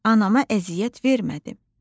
Anama əziyyət vermədim.”